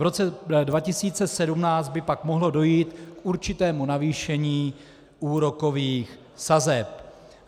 V roce 2017 by pak mohlo dojít k určitému navýšení úrokových sazeb.